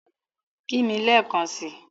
Kí mì lẹ̀ekàn sí!